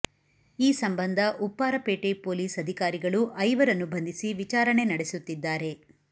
ಈ ಸಂಬಂಧ ಉಪ್ಪಾರಪೇಟೆ ಪೊಲೀಸ್ ಅಧಿಕಾರಿಗಳು ಐವರನ್ನು ಬಂಧಿಸಿ ವಿಚಾರಣೆ ನಡೆಸುತ್ತಿದ್ದಾರೆ